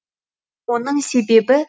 оның себебі